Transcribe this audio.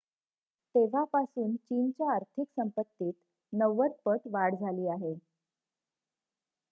तेव्हापासून चीनच्या आर्थिक संपत्तीत 90 पट वाढ झाली आहे